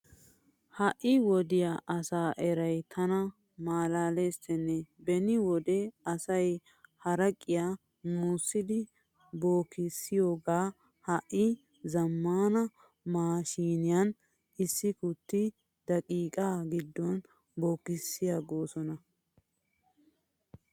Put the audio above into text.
Ha wodiyaa asaa erayi tana malaalesttenne beni wode asayi haraqiyaa musidi bukeessiyoogaa ha''i zammaana maashshiiniyaan issi kutti daqiiqaa giddon bukeessiigosona.